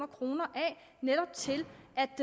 kroner af netop til